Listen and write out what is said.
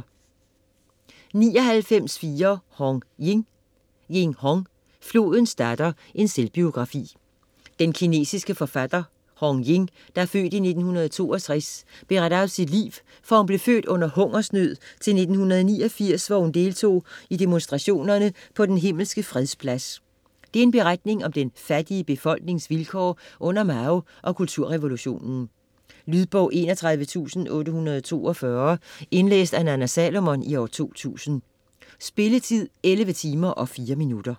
99.4 Hong, Ying Hong, Ying: Flodens datter: en selvbiografi Den kinesiske forfatter Hong Ying (f. 1962) beretter om sit liv fra hun blev født under hungersnød til 1989, hvor hun deltog i demonstrationerne på Den Himmelske Freds Plads. Det er en beretning om den fattige befolknings vilkår under Mao og kulturrevolutionen. Lydbog 31842 Indlæst af Nanna Salomon, 2000. Spilletid: 11 timer, 4 minutter.